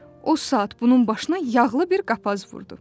O saat bunun başına yağlı bir qapaz vurdu.